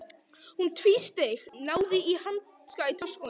Hún tvísteig, náði í hanska í töskunni.